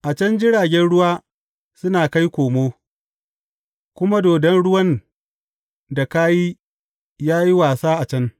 A can jiragen ruwa suna kai komo, kuma dodon ruwan da ka yi, yă yi wasa a can.